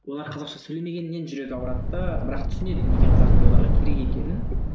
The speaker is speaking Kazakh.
олар қазақша сөйлемегеннен жүрегі ауырады да бірақ түсінеді неге қазақ тілі оларға керек екенін